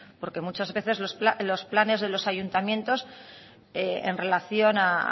porque muchas veces los planes de los ayuntamientos en relación a